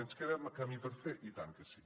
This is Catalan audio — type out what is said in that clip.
ens queda camí per fer i tant que sí